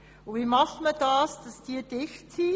Und wie erreicht man, dass diese dicht sind?